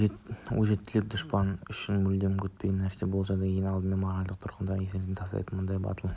өжеттілік дұшпан үшін мүлдем күтпеген нәрсе бұл жағдай ең алдымен моральдық тұрғыдан есеңгіретіп тастайды мұндай батыл